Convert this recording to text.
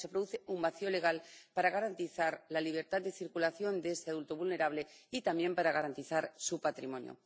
Se produce un vacío legal para garantizar la libertad de circulación de ese adulto vulnerable y también para garantizar su patrimonio.